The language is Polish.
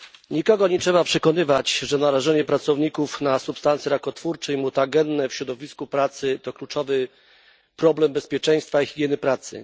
Nikogo nie trzeba przekonywać, że narażenie pracowników na substancje rakotwórcze i mutagenne w środowisku pracy to kluczowy problem bezpieczeństwa i higieny pracy.